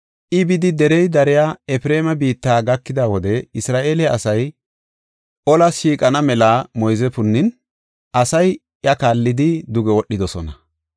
I bidi derey dariya Efreema biitta gakida wode Isra7eele asay olas shiiqana mela moyze punnin, asay iya kaallidi duge wodhidosona.